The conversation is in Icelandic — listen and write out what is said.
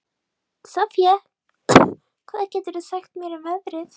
Soffía, hvað geturðu sagt mér um veðrið?